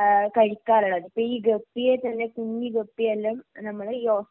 ഏഹ് കഴിക്കാറുള്ളത് അപ്പോ ഈ ഗപ്പിയെ തന്നെ കുഞ്ഞു ഗപ്പിയെ എല്ലാം നമ്മള് ഈ